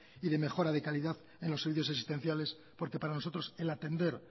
y de mejora de calidad en los servicios asistenciales porque para nosotros el atender